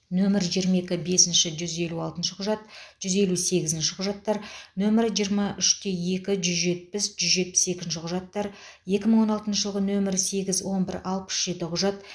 нөмірі жиырма екі бесінші жүз елу алтыншы құжат жүз елу сегізінші құжаттар нөмірі жиырма үште екі жүз жетпіс жүз жетпіс екінші құжаттар екі мың он алтыншы жылғы нөмірі сегіз он бір алпыс жетінші құжат